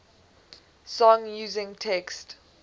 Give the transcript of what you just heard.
song using text